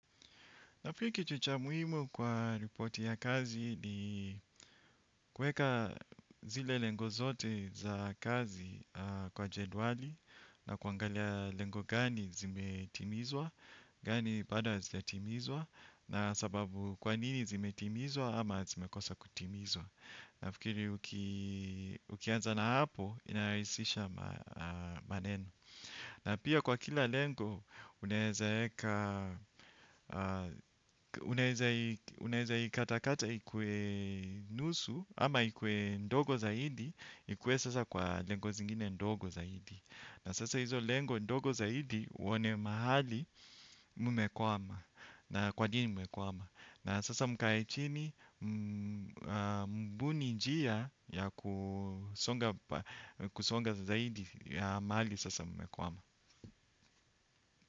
Nafikiri kitu cha muhimu kwa ripoti ya kazi ni kueka zile lengo zote za kazi kwa jendwali na kuangalia lengo gani zimetimizwa, gani bado hazijatimizwa, na sababu kwa nini zimetimizwa ama zimekosa kutimizwa. Nafikiri ukianza na hapo, inarahisisha maneno. Na pia kwa kila lengo, unaeza ikatakata ikue nusu ama ikue ndogo zaidi. Ikue sasa kwa lengo zingine ndogo zaidi. Na sasa hizo lengo ndogo zaidi uone mahali mumekwama. Na kwa nini mumekwama. Na sasa mkae chini mbuni njia ya kusonga zaidi ya mahali sasa mmekwama.